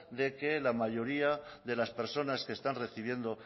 de que la mayoría de las personas que están recibiendo